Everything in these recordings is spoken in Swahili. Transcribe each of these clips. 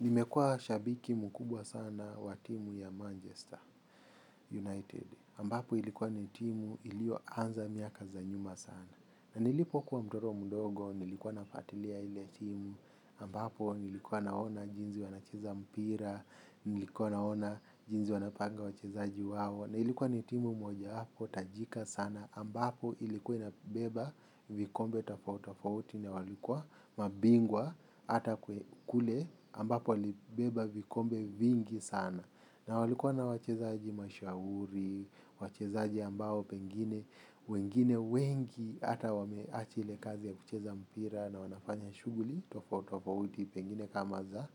Nimekuwa shabiki mkubwa sana wa timu ya Manchester United, ambapo ilikuwa ni timu iliyo anza miaka za nyuma sana. Nilipokuwa mtoto mdogo, nilikuwa nafuatilia ile timu, ambapo nilikuwa naona jinsi wanacheza mpira, nilikuwa naona jinsi wanapanga wachezaji wao. Na ilikuwa ni timu moja hapo, tajika sana, ambapo ilikuwa inabeba vikombe tofautofauti, na walikuwa mabingwa ata kule ambapo ilibeba vikombe vingi sana. Na walikuwa na wachezaji mashuhuri, wachezaji ambao pengine, wengine wengi ata wamewacha ile kazi ya kucheza mpira na wanafanya shughuli tofautofauti pengine kama za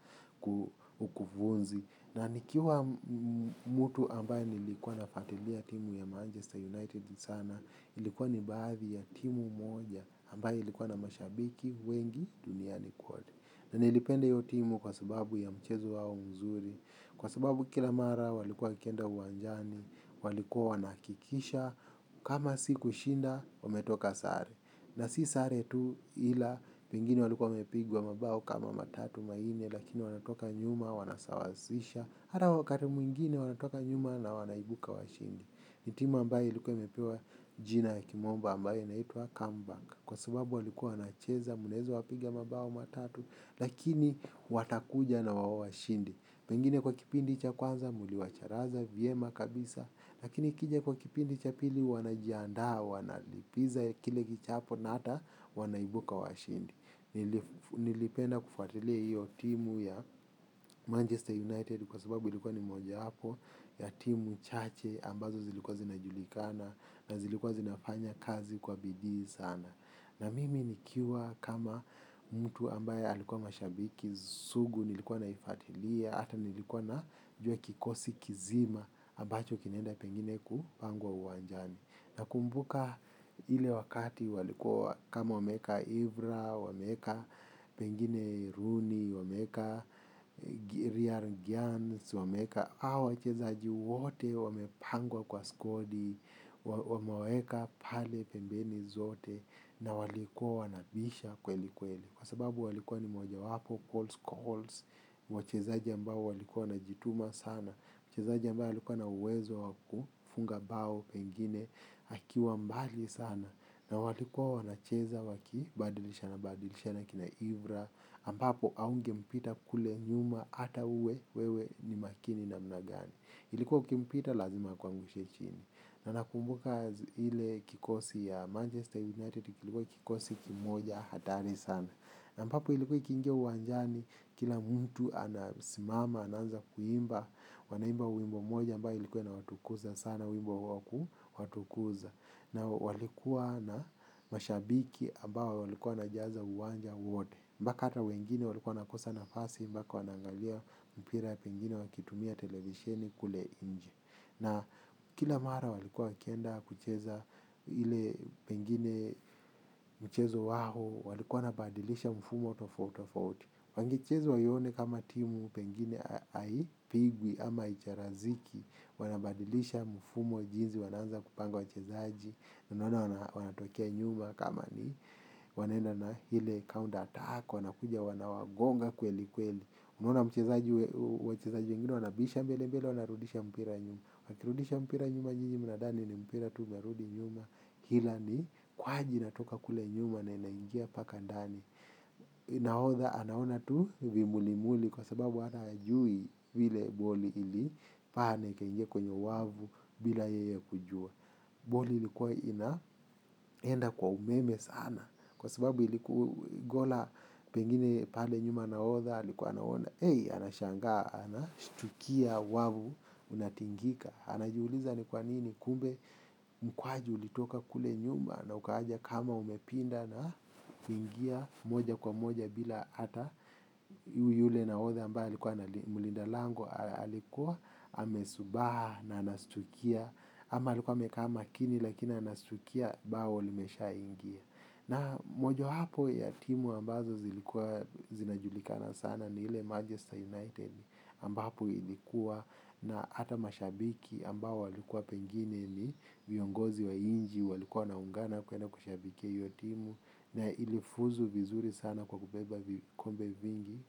ukufunzi. Na nikiwa mtu ambaye nilikuwa nafuatilia timu ya Manchester United sana, ilikuwa ni baadhi ya timu moja ambaye ilikuwa na mashabiki wengi duniani kwote. Na nilipenda hiyo timu kwa sababu ya mchezo wao mzuri, kwa sababu kila mara walikuwa wakienda uwanjani, walikuwa wanahakikisha, kama si kushinda, wametoka sare. Na si sare tu ila, wengine walikuwa wamepigwa mabao kama matatu manne, lakini wanatoka nyuma, wanasawazisha. Hata wakati mwingine wanatoka nyuma na wanaibuka washindi. Ni timu ambayo ilikuwa imepewa jina ya kimombo ambayo inaitwa come back. Kwa sababu walikuwa wanacheza, mnaweza wapiga mabao matatu, lakini watakuja na wawashinde. Pengine kwa kipindi cha kwanza, mliwacharaza, vyema kabisa. Lakini ikija kwa kipindi cha pili wanajiandaa wanalipiza kile kichapo na hata wanaibuka washindi. Nilipenda kufuatilia hiyo timu ya Manchester United kwa sababu ilikuwa ni mojawapo ya timu chache ambazo zilikuwa zinajulikana na zilikuwa zinafanya kazi kwa bidii sana. Na mimi nikiwa kama mtu ambaye alikuwa mashabiki, sugu nilikuwa naifuatilia, ata nilikuwa na jua kikosi kizima, ambacho kinaenda pengine kupangwa uwanjani. Nakumbuka ile wakati walikua kama wameeka ivra, wameka pengine runi, wameeka real gyan, wameeka hawa wachezaji wote wamepangwa kwa skodi, wamewaweka pale pembeni zote na walikuwa wanabisha kweli kweli. Kwa sababu walikuwa ni moja wapo, calls, calls, wachezaji ambao walikuwa na jituma sana, mchezaji ambaye alikuwa na uwezo wakufunga bao, pengine, akiwa mbali sana, na walikuwa nacheza wakibadilishana badilishana akina ivra, ambapo haunge mpita kule nyuma hata uwe, wewe ni makini namna gani. Ilikuwa ukimpita lazima kwa akuangushe chini. Na nakumbuka ile kikosi ya Manchester United. Ilikuwa kikosi kimoja hatari sana. Na ambapo ilikuwa ikiingia uwanjani kila mtu anasimama, anaanza kuimba. Wanaimba wimbo moja ambayo ilikuwa inawatukuza sana wimbo wa kuwatukuza. Na walikuwa na mashabiki ambao walikuwa wanajaza uwanja wote. Mpaka ata wengine walikuwa wanakosa nafasi. Mpaka wanangalia mpira pengine wakitumia televisheni kule nje. Na kila mara walikua wakienda kucheza ile pengine mchezo wao walikua wanabadilisha mfumo tofautitofauti. Wangecheza waione kama timu pengine haipigwi ama haicharaziki wanabadilisha mfumo jinsi wanaanza kupanga wachezaji unaona wanatokea nyuma kama ni. Wanenda na ile count attack wanakuja wanawagonga kweli kweli. Unaona mchezaji wengine wanabisha mbele mbele wanarudisha mpira nyuma. Wakirudisha mpira nyuma nyinyi mnadhani ni mpira tu unarudi nyuma ila ni kwaji inatoka kule nyuma na inaingia mpaka ndani. Nahodha anaona tu vimuli muli kwa sababu hata hajui vile boli ili paa na ikaingia kwenye wavu bila yeye kujua. Boli ilikuwa inaenda kwa umeme sana. Kwa sababu iliku gola pengine pale nyuma nahodha alikuwa naona, anashangaa, anashtukia wavu, unatingika. Anajuliza ni kwa nini, kumbe mkwaju ulitoka kule nyuma na ukaja kama umepinda na ingia moja kwa moja bila hata yule nahodha ambaye likuwa na mlinda lango alikuwa, amezubaa na anashtukia ama alikuwa amekaa makini lakina anashtukia bao limesha ingia. Na mojowapo ya timu ambazo zilikuwa zinajulikana sana ni ile Manchester United ambapo ilikuwa na ata mashabiki ambao walikuwa pengine ni viongozi wa inchi walikuwa wanaungana kwenda kushabikia hiyo timu na ilifuzu vizuri sana kwa kubeba vikombe vingi.